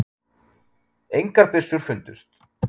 Engar byssur fundust